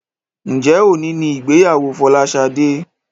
Njé òní ní ìgbéyàwó Folashade?